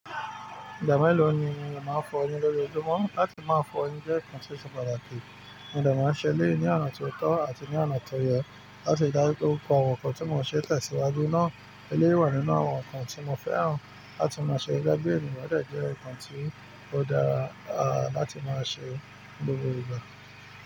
Ìgbà mélòó ni o máa ń fọ'yin ní lójoojúmọ́? Láti máa fọ'yin jẹ́ nkan tí ó ṣe pàtàkì. Mo dè máa ń ṣẹ elẹ̀yi ní ọ̀nà tó tọ́ àti ní ọ̀nà tó yẹ láti ri dáju pe pupo nkàn tí mo n ṣe tẹ̀síwájú náà. Eléwé wà nínú àwọn nǹkan tí mo fẹ́ràn láti máa ṣe gbígbé ènìyàn bẹ́ẹ̀ jẹ́ nǹkan tí ó dára láti máa ṣe ní gbogbo ìgbà.